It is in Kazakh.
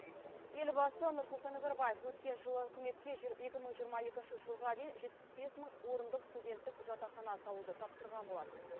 елбасы нұрсұлтан назарбаев өткен жылы үкіметке екі мың жиырма екінші жылға дейн жетпіс бес мың орындық студенттік жатақхана салуды тапсырған болатын